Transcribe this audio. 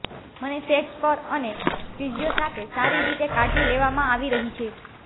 મને સેટ્સ પર અને ફિઝિયો સાથે સારી રીતે કાળજી લેવામાં આવી રહી છે